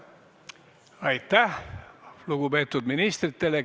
Aitäh lugupeetud ministritele!